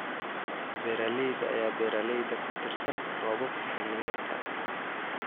Beeralayda ayaa beeralayda ku tiirsan roobabka xilliyeedka.